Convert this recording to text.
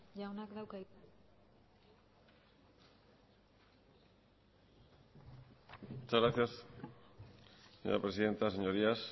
jaunak dauka hitza muchas gracias señora presidenta señorías